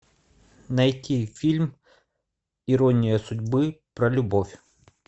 найти фильм ирония судьбы про любовь